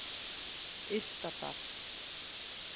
Ystadal